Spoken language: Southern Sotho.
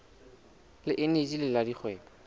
le eneji le la dikgwebo